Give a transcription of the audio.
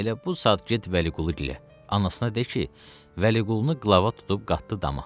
Elə bu saat get Vəliqulu gilə, anasına de ki, Vəliqulunu qlava tutub qatdı dama.